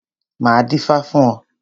Máa dífá fún ọ.